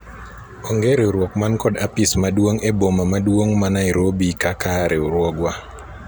onge riwruok man kod apis maduong' e boma maduong' ma Nairobi kaka riwruogwa